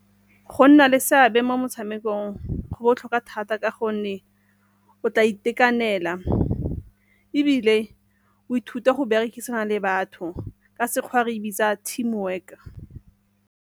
Go nna le seabe mo motshamekong go botlhokwa thata ka gonne o tla itekanela, ebile o ithute go berekisana le batho ka Sekgowa re e bitsa team work.